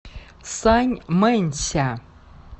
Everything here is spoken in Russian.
саньмэнься